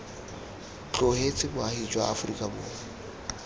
tlogetse boagi jwa aforika borwa